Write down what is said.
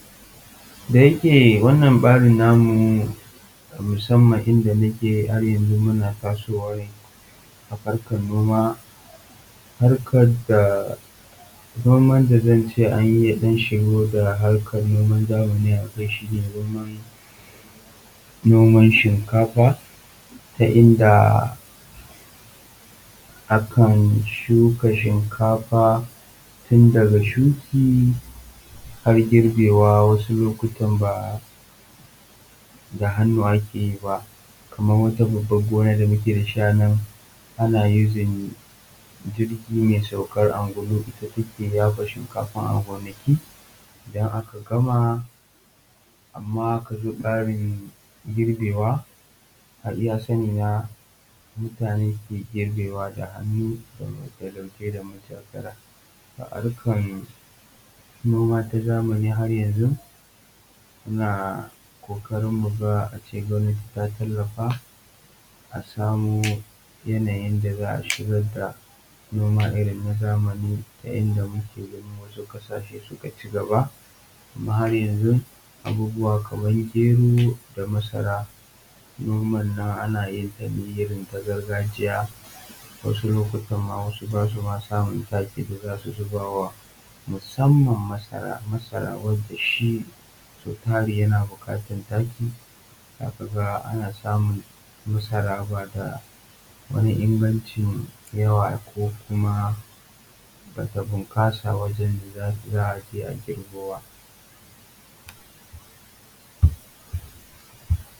Da yake wannan babin namu da muke har yanzu muna tasowa ne a harkan noma. Noman da zan iya cewa an shigo da noman zamani a kai shi ne noman shinkafa inda akan shuka shinkafa har zuwa girbi, wasu lokutan ba da hannu ake yi ba kamar wata babban gona da muke da shi anan ana amfani da wata jirgi mai saukan angulu. Amma idan aka zo girbe wa iya sani na mutane ke girbewa da hannu, harkan noma na zamani yanzu muna kokarin cewa mu ga gwamnati ta tallafa a samar da yanayin da za a shigar da harkan noma na zamani yadda muke ganin wasu suka cigaba. Amma har yanzu abubuwa kaman gero da masara haryanzu ana yin su ne a gargajiyance wasu ma ba su sa taki musamman masara wanda shi sau tari yana bukatar taki, za ka ga ana samun masara ba da wani yawa ba.